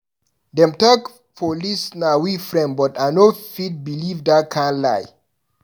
Dem talk police na we friend but I no fit beliv dat kind lie.